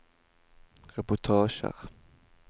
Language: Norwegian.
reportasjer